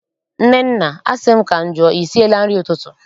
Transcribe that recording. Nnenna, asị m ka m jụọ, I siela nri ụtụtụ?